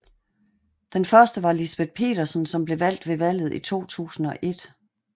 Den første var Lisbeth Petersen som blev valgt ved valget i 2001